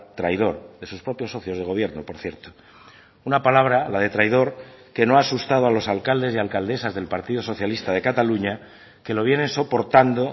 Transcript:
traidor de sus propios socios de gobierno por cierto una palabra la de traidor que no ha asustado a los alcaldes y alcaldesas del partido socialista de cataluña que lo vienen soportando